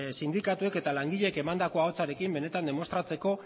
sindikatuek eta langileek emandako ahotsarekin benetan demostratzeko